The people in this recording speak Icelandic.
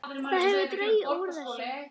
Það hefur dregið úr þessu.